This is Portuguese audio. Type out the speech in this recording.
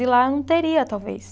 E lá eu não teria, talvez.